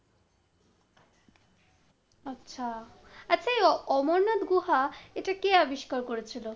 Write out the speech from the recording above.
আচ্ছা, আচ্ছা এই অমরনাথ গুহা এটা কে আবিষ্কার করেছিল?